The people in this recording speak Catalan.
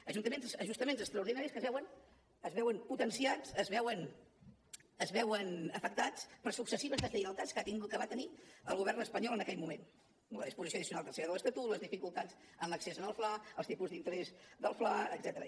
ajustaments extraordinaris que es veuen potenciats es veuen afectats per successives deslleialtats que va tenir el govern espanyol en aquell moment la disposició addicional tercera de l’estatut les dificultats en l’accés al fla els tipus d’interès del fla etcètera